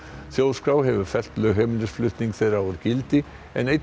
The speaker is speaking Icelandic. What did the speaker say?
þjóðskrá hefur fellt lögheimilisflutning þeirra úr gildi en einn